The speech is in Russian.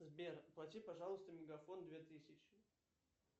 сбер оплати пожалуйста мегафон две тысячи